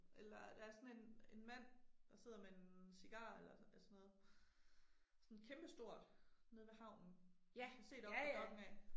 Eller der er sådan en en mand der sidder med en cigar eller sådan noget. Sådan kæmpe stort, nede ved havnen. Har du set oppe ved Dokk1 af